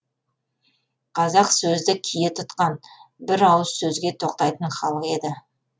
қазақ сөзді кие тұтқан бір ауыз сөзге тоқтайтын халық еді